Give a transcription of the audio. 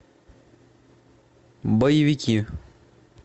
боевики